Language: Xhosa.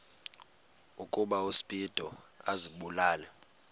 ukuba uspido azibulale